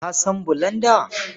Ka san bulanda?